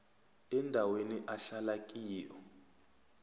endaweni ahlala kiyo